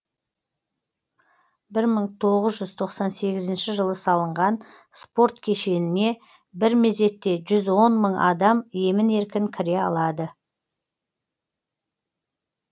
бір мың тоғыз жүз тоқсан сегізінші жылы салынған спорт кешеніне бір мезетте жүз он мың адам емін еркін кіре алады